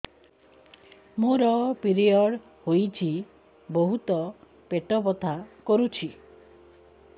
ମୋର ପିରିଅଡ଼ ହୋଇଛି ବହୁତ ପେଟ ବଥା କରୁଛି